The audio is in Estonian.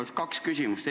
Mul on kaks küsimust.